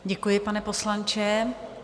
Děkuji, pane poslanče.